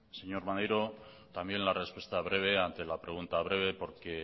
señor maneiro también la respuesta breve ante la pregunta breve porque